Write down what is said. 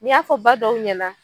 Ni y'a fɔ ba dɔw ɲɛna